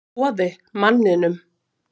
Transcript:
Boði: Manninum?